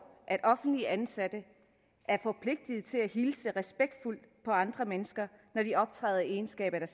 at offentligt ansatte er forpligtet til at hilse respektfuldt på andre mennesker når de optræder i egenskab af